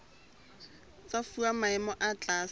tsa fuwa maemo a tlase